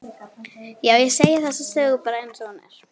Já, ég segi þessa sögu bara einsog hún er.